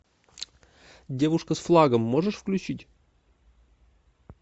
девушка с флагом можешь включить